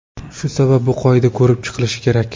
Shu sabab bu qoida ko‘rib chiqilishi kerak.